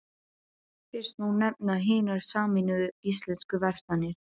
Fyrst má nefna Hinar sameinuðu íslensku verslanir.